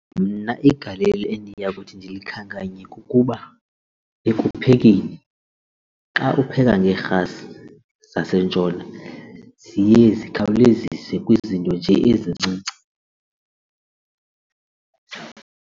Mna igalelo endiya kuthi ndikhankanye kukuba ekuphekeni xa upheka ngeerhasi zasentshona ziye zikhawulezise kwizinto nje ezincinci.